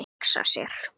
Hugsa sér.